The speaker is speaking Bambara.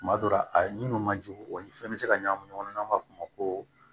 Tuma dɔ la a minnu ma jugu o ni fɛn bɛ se ka ɲagami ɲɔgɔn na n'an b'a f'o ma ko